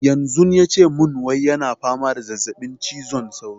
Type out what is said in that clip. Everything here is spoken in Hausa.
Yanzu yace mun wai yana fama da zazzaɓin cizon sauro